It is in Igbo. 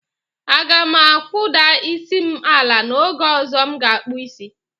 Aga m akpụda isi m ala n'oge ọzọ m ga-akpụ isi.